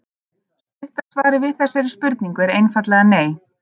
Stutta svarið við þessari spurningu er einfaldlega nei.